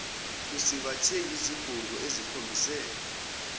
kusingathwe yizigungu ezikhombise